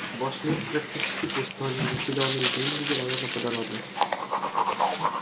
ваш мир практически пуст но незаселенные земли вероятно плодородны